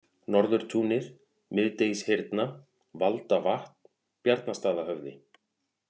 Norðurtúnið, Miðdegishyrna, Valdavatn, Bjarnastaðahöfði